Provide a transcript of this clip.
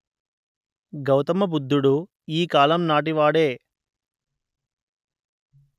గౌతమ బుద్ధుడు ఈ కాలము నాటి వాడే